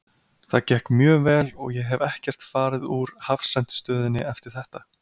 Það gekk mjög vel og ég hef ekkert farið úr hafsent stöðunni eftir þetta.